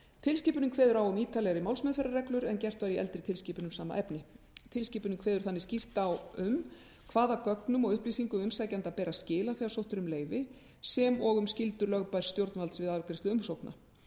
tilskipunin kveður á um ítarlegri málsmeðferðarreglur en gert var í eldri tilskipun um sama efni tilskipunin kveður þannig skýrt á um hvaða gögnum og upplýsingum umsækjanda ber að skila þegar sótt er um leyfi sem og um skyldur lögbærs stjórnvalds við afgreiðslu umsókna